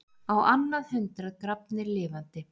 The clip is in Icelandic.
Á annað hundrað grafnir lifandi